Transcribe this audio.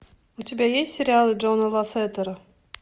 у тебя есть сериалы джона лассетера